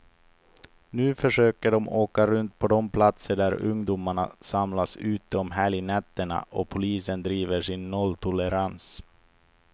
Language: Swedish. Nu försöker de åka runt på de platser där ungdomarna samlas ute om helgnätterna, och polisen driver sin nolltolerans.